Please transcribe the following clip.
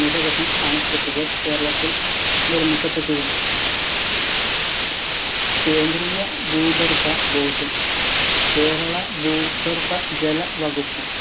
നിരവധി അണക്കെട്ടുകൾ കേരളത്തിൽ നിർമ്മിക്കപ്പെട്ടിരുന്നു കേന്ദ്രീയ ഭൂഗർഭ board ഉം കേരള ഭൂഗർഭ ജല വകുപ്പും